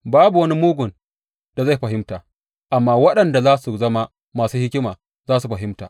Babu wani mugun da zai fahimta, amma waɗanda za su zama masu hikima za su fahimta.